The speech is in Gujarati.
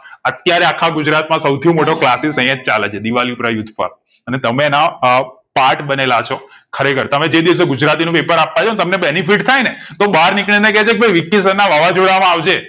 અત્યરે આખા ગુજરાત માં સૌંથી મોટો classis અહીંયા જ ચાલે છે દિવાલી પરા યુથ પર અને તમે એ ના part બનેલા છો ખરેખર તમે જે દિવસે ગુજરાતી નું paper આપવા જાવ ને તમને benefit થાય ને તો બાર નીકળી ને કે છે ભઈ વિકિ sir ના વાવાજોડા માં આવજે